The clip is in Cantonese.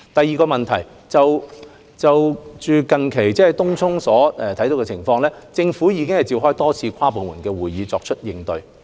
二有見東涌近日的情況，政府已召開多次跨部門會議，作出應對。